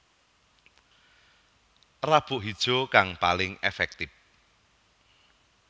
Rabuk Hijau kang paling èfèktif